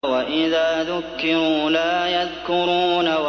وَإِذَا ذُكِّرُوا لَا يَذْكُرُونَ